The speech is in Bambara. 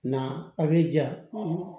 Na a bɛ ja